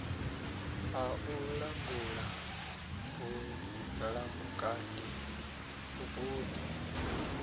a u langula vhulamukanyi vhuponi